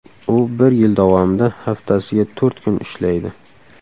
U bir yil davomida haftasiga to‘rt kun ishlaydi.